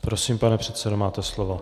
Prosím, pane předsedo, máte slovo.